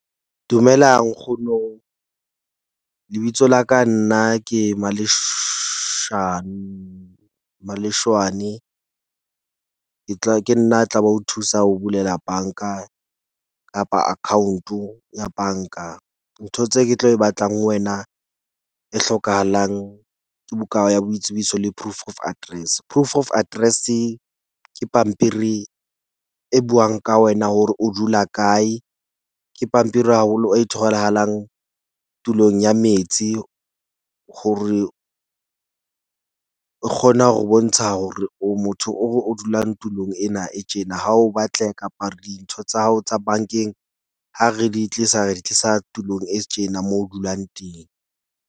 Dumela nkgono, lebitso la ka nna ke Maleshwane , ke tla ke nna a tla ba ho thusa ho bulela bank-a kapa account-o ya bank-a. Ntho tse ke tlo e batlang ho wena e hlokahalang ke buka ya hao ya boitsebiso le proof of address. Proof of address-e ke pampiri e buang ka wena hore o dula kae. Ke pampiri haholo e tholahalang tulong ya metsi hore e kgona ho bontsha hore o motho o dulang tulong ena e tjena. Ha o batle kapa dintho tsa hao tsa bank-eng, ha re di tlisa, re di tlisa tulong e tjena moo o dulang teng.